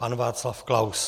Pan Václav Klaus.